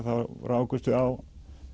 rákumst við á